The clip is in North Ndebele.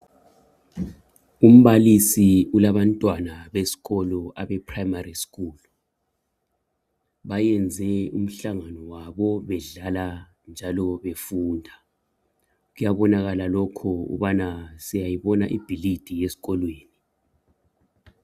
Umbalisi ulabantwana besikolo Abe primary school , bayenze umhlangabo wabo bedlala njalo befunda , kuyabonakala lokhu ngokubana siyayibona ibhilidi yesikolweni